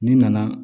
N'i nana